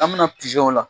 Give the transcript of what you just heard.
An bɛna pizɔnw la